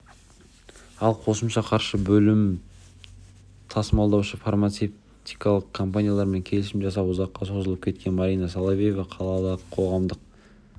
ал қосымша қаржы бөліп тасымалдаушы фармацевтикалық компаниялармен келісім жасау ұзаққа созылып кеткен марина соловьева қалалық қоғамдық